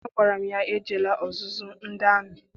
Agwara m ya, ejekwala ọzụzụ ndị amị!